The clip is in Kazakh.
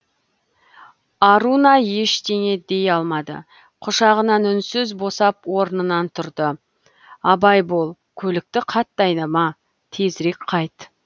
аруна ештеңе дей алмады құшағынан үнсіз босап орнынан тұрды абай бол көлікті қатты айдама тезірек қайт